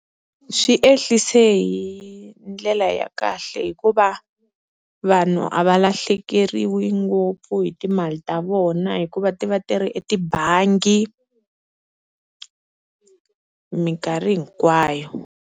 Swi ehlise hi ndlela ya kahle, hikuva vanhu a va lahlekeriwa ngopfu hi timali ta vona hikuva ti va ti ri etibangi minkarhi hinkwayo.